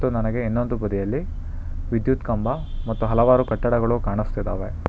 ನನಗೆ ಇನ್ನೊಂದು ಬದಿಯಲ್ಲಿ ವಿದ್ಯುತ್ ಕಂಬ ಮತ್ತು ಹಲವಾರು ಕಟ್ಟಡಗಳು ಕಾಣಿಸ್ತಿದಾವೆ.